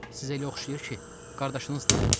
Sizə elə oxşayır ki, qardaşınızdır?